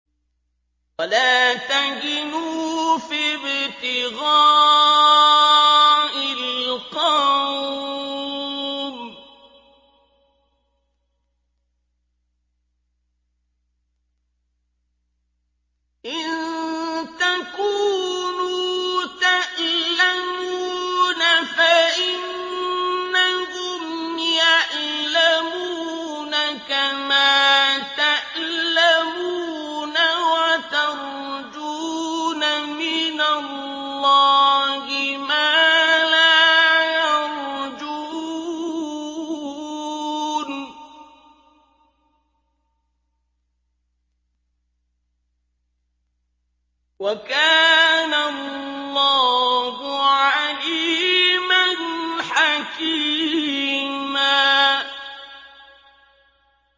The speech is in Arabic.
وَلَا تَهِنُوا فِي ابْتِغَاءِ الْقَوْمِ ۖ إِن تَكُونُوا تَأْلَمُونَ فَإِنَّهُمْ يَأْلَمُونَ كَمَا تَأْلَمُونَ ۖ وَتَرْجُونَ مِنَ اللَّهِ مَا لَا يَرْجُونَ ۗ وَكَانَ اللَّهُ عَلِيمًا حَكِيمًا